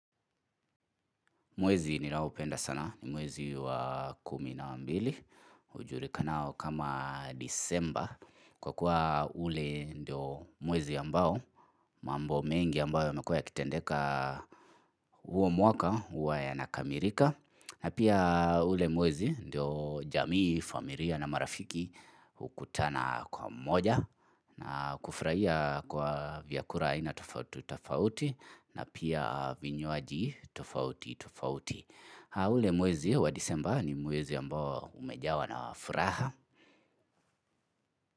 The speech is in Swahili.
Mwezi ninaoupenda sana ni mwezi wa kumi na mbili hujurikanao kama Disemba Kwa kuwa ule ndio mwezi ambao mambo mengi ambayo yamekua yakitendeka huo mwaka hua yanakamirika na pia ule mwezi ndio jamii, famiria na marafiki hukutana kwa mmoja na kufraia kwa vyakura ina tofauti tofauti na pia vinywaji tofauti tofauti. Uule mwezi ya wa disemba ni mwezi ya mbawa umejawa na wa furaha.